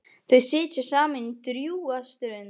Þau sitja saman drjúga stund.